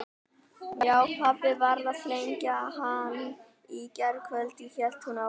Já, pabbi varð að flengja hann í gærkvöldi hélt hún áfram.